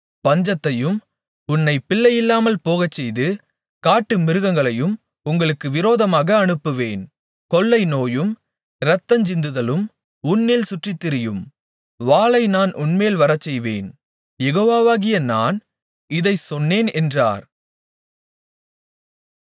பஞ்சத்தையும் உன்னைப் பிள்ளையில்லாமல் போகச்செய்து காட்டுமிருகங்களையும் உங்களுக்கு விரோதமாக அனுப்புவேன் கொள்ளைநோயும் இரத்தஞ்சிந்துதலும் உன்னில் சுற்றித்திரியும் வாளை நான் உன்மேல் வரச்செய்வேன் யெகோவாகிய நான் இதைச் சொன்னேன் என்றார்